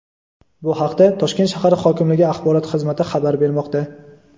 Bu haqda Toshkent shahar hokimligi axborot xizmati xabar bermoqda.